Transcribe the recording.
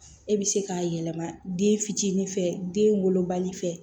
E bɛ se k'a yɛlɛma den fitinin fɛ den wolobali fɛ